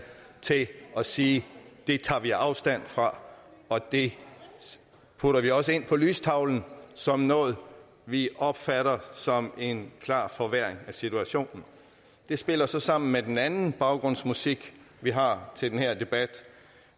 til at sige det tager vi afstand fra og det putter vi også ind på lystavlen som noget vi opfatter som en klar forværring af situationen det spiller så sammen med den anden baggrundsmusik vi har til den her debat